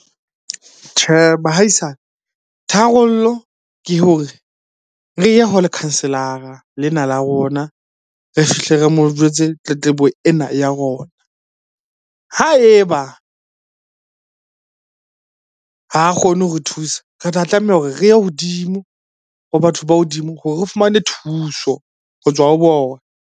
Tjhe bahaisane, tharollo ke hore re ye ho lekhanselara lena la rona. Re fihle re mo jwetse tletlebo ena ya rona. Ha eba ha kgone ho re thusa, re tla tlameha hore re ye hodimo ho batho ba hodimo hore re fumane thuso ho tswa ho bona.